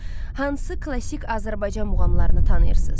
Hansı klassik Azərbaycan muğamlarını tanıyırsınız?